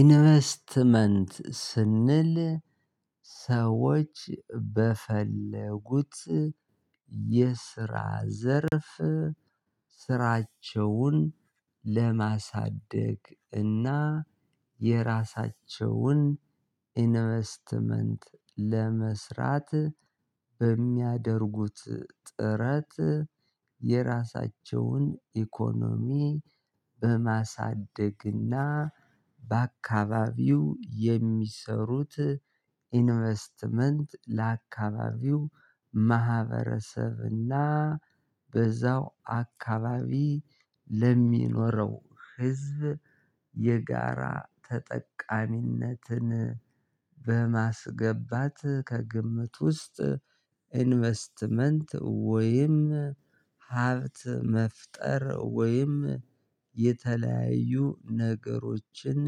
ኢንቨስትመንት ስንል ሰዎች በፈለጉት የስራ ዘርፍ ስራቸውን ለማሳደግ እና የራሳቸውን ኢንቨስትመንት ለመስራት በሚያደርጉት ጥረት የራሳቸውን ኢኮኖሚ በማሳደግና በአካባቢው የሚሰሩት ኢንቨስትመንት ለአካባቢው ማህበረሰብና በዛው አካባቢ ለሚኖረው ህዝብ የጋራ ተጠቃሚነትን በማስገባት ከግምት ውስጥ ኢንቨስትመንት ወይም ሀብት መፍጠር ወይም የተለያዩ ነገሮችን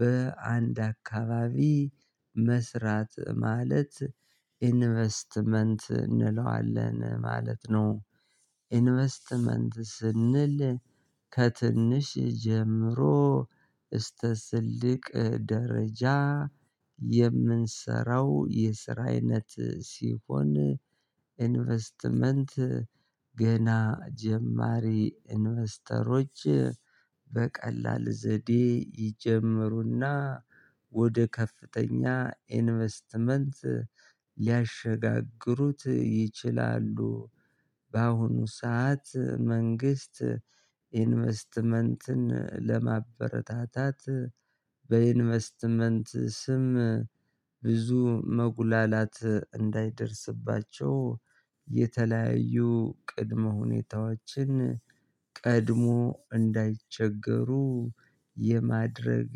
በአንድ አካባቢ መስራት ማለት ኢንቨስትመንት እንለዋለን ማለት ነው። ኢንቨስትመንት ስንል ከትንሽ ጀምሮ እስከ ስልቅ ደረጃ የምንሰራው የስራ አይነት ሲሆን ኢንቨስትመንት ገና ጀማሪ ኢንቨስተሮች በቀላል ዘዴ ይጀምሩና ወደ ከፍተኛ ኢንቨስትመንት ሊያሸጋግሩት ይችላሉ። በአሁኑ ሰዓት መንግስት ኢንቨስትመንትን ለማበረታታት በኢንቨስትመንት ስም ብዙ መጉላላት እንዳይደርስባቸው የተለያዩ ቅድመ ሁኔታዎችን ቀድሞ እንዳይቸገሩ የማድረግ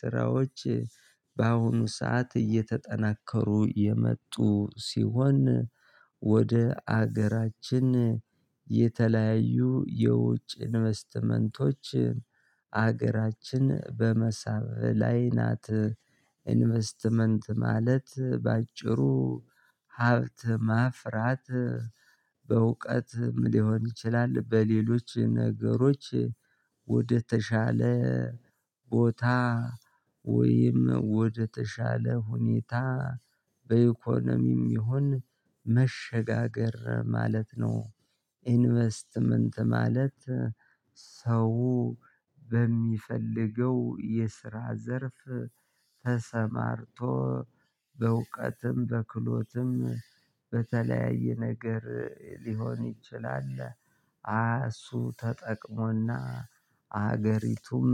ስራዎች በአሁኑ ሰዓት እየተጠናከሩ የመጡ ሲሆን ወደ ሀገራችን የተለያዩ የውጭ ኢንቨስትመንቶች አገራችን በመሳብ ላይ ናት። ኢንቨስትመንት ማለት በአጭሩ ሀብት ማፍራት በእውቀት ሊሆን ይችላል። በሌሎች ነገሮች ወደ ተሻለ ቦታ ወይም ወደተሻለ ሁኔታ በኢኮኖሚም ይሁን መሸጋገር ማለት ነው። ኢንቨስትመንት ማለት ሰው በሚፈልገው የስራ ዘርፍ ተሰማርቶ በእውቀትም በክሎትም በተለያየ ነገር ሊሆን ይችላል እሱ ተጠቅሞና ሀገሪቱም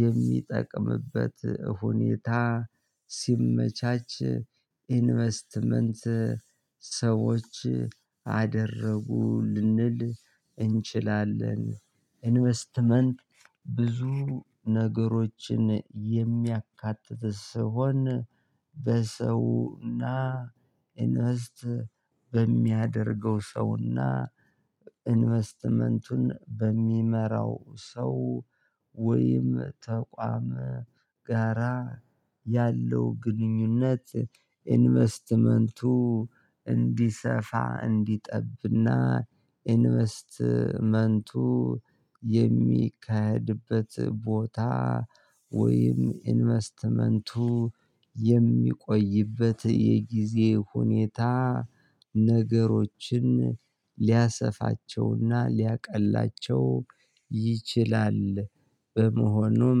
የሚጠቅምበት ሁኔታ ሲመቻች ኢንቨስትመንት ሰዎች አደረጉ ልንል እንችላለን። ኢንቨስትመንት ብዙ ነገሮችን የሚያካትት ስሆን በሰውና ኢንቨስት በሚያደርገው ሰውና ኢንቨስትመንቱን በሚመራው ሰው ወይም ተቋም ጋራ ያለው ግንኙነት ኢንቨስትመንቱ እንዲሰፋ እንዲጠብና ኢንቨስትመንቱ የሚካድበት ቦታ ወይም ኢንቨስትመንቱ የሚቆይበት የጊዜ ሁኔታ ነገሮችን ሊያሰፋቸውና ሊያቀላቸው ይችላል። በመሆኑም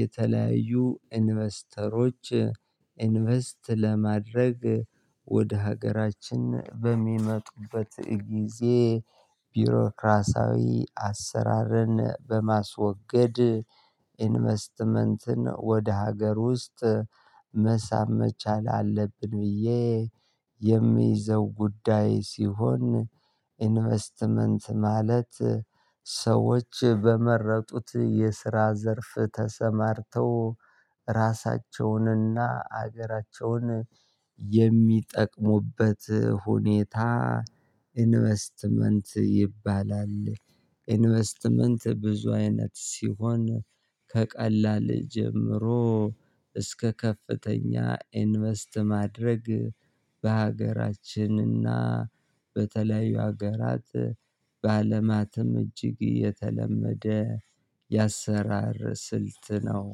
የተለያዩ ኢንቨስተሮች ኢንቨስት ለማድረግ ወደ ሀገራችን በሚመጡበት ጊዜ ቢሮክራሳዊ አሰራርን በማስወገድ ኢንቨስትመንትን ወደ ሀገር ውስጥ መሳም መቻል አለብን። ብዬ የምይዘው ጉዳይ ሲሆን ኢንቨስትመንት ማለት ሰዎች በመረጡት የስራ ዘርፍ ተሰማርተው ራሳቸውንና ሀገራቸውን የሚጠቅሙበት ሁኔታ ኢንቨስትመንት ይባላል። ኢንቨስትመንት ብዙ አይነት ሲሆን ከቀላል ጀምሮ እስከ ከፍተኛ ኢንቨስት ማድረግ በሀገራችንና በተለያዩ ሀገራት በአለማትም እጅግ የተለመደ የአሰራር ስልት ነው